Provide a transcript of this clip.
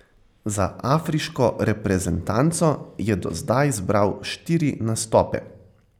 Za afriško reprezentanco je do zdaj zbral štiri nastope.